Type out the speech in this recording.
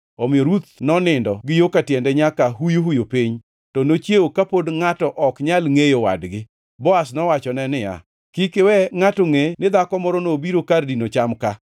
Omiyo Ruth nonindo gi yo ka tiende nyaka huyuhuyu piny, to nochiewo ka pod ngʼato ok nyal ngʼeyo wadgi. Boaz nowachone niya, “Kik iwe ngʼato ngʼe ni dhako moro nobiro kar dino cham ka.”